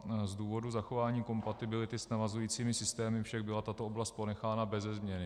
Z důvodu zachování kompatibility s navazujícími systémy však byla tato oblast ponechána beze změny.